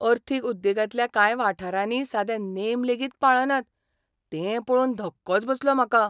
अर्थीक उद्देगांतल्या कांय वाठारांनी सादे नेम लेगीत पाळनात तें पळोवन धक्कोच बसलो म्हाका.